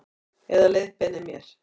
Eða leiðbeinir mér.